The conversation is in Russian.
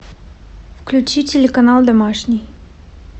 включи телеканал домашний